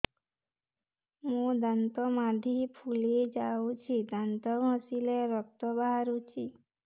ମୋ ଦାନ୍ତ ମାଢି ଫୁଲି ଯାଉଛି ଦାନ୍ତ ଘଷିଲେ ରକ୍ତ ବାହାରୁଛି